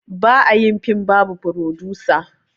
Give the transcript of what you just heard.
Ba a yin film babu frodusa